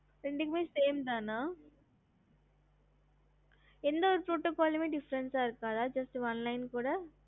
ஹம்